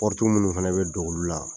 minnu fana bɛ don olu la